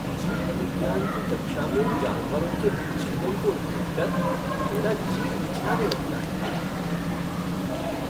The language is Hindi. जीव विज्ञान की कक्षा में जानवरों के विच्छेदन को देखकर मेरा जी मिचलाने लगता है।